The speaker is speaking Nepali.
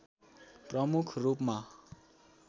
प्रमुख रूपमा